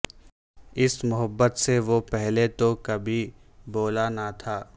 اس محبت سے وہ پہلے تو کبھی بولا نہ تھا